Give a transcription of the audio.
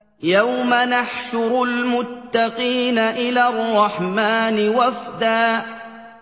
يَوْمَ نَحْشُرُ الْمُتَّقِينَ إِلَى الرَّحْمَٰنِ وَفْدًا